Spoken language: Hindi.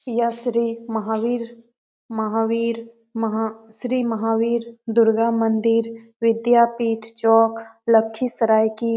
यह श्री महावीर महा महावीर श्री महावीर दुर्गा मंदिर विद्यापीठ चौक लखीसराय की --